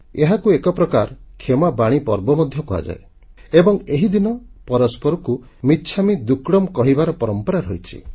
ଏହାକୁ ଏକ ପ୍ରକାର କ୍ଷମାବାଣୀ ପର୍ବ ମଧ୍ୟ କୁହାଯାଏ ଏବଂ ଏହି ଦିନ ପରସ୍ପରଙ୍କୁ ମିଚ୍ଛାମୀ ଦୁକ୍କଡ଼ମ୍ କହିବାର ପରମ୍ପରା ରହିଛି